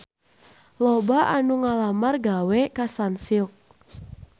Loba anu ngalamar gawe ka Sunsilk